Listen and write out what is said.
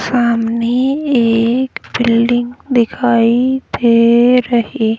सामने एक बिल्डिंग दिखाई दे रही --